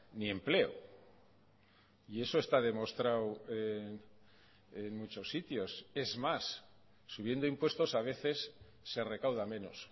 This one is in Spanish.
ni empleo y eso está demostrado en muchos sitios es más subiendo impuestos a veces se recauda menos